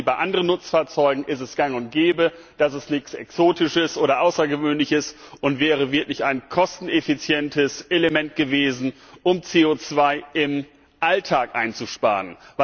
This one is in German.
Wir haben sie bei anderen Nutzfahrzeugen, da ist sie gang und gäbe, das ist nichts Exotisches oder Außergewöhnliches und wäre wirklich ein kosteneffizientes Element gewesen, um CO im Alltag einzusparen.